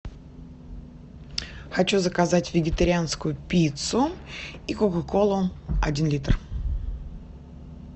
хочу заказать вегетарианскую пиццу и кока колу один литр